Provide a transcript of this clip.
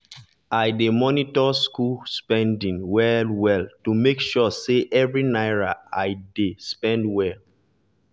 i dey monitor school spending well-well to make sure say every naira i oudey spent well.